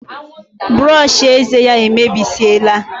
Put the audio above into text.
Brushi ézè yá emebesiela